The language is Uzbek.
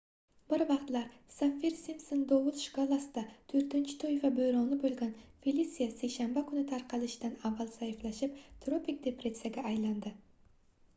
bir vaqtlar saffir-simpson dovul shkalasida 4-toifa boʻroni boʻlgan felisia seshanba kuni tarqalishidan avval zaiflashib tropik depressiyaga aylandi